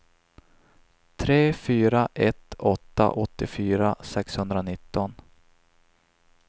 tre fyra ett åtta åttiofyra sexhundranitton